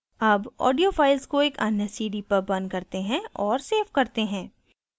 अब audio files को एक अन्य cd पर burn करते हैं और सेव करते हैं